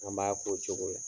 An b'a to o cogo la.